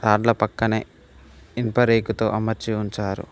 దాంట్లో పక్కనే ఇనుప రేకుతో అమర్చి ఉంచారు.